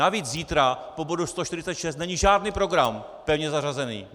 Navíc zítra po bodu 146 není žádný program pevně zařazený.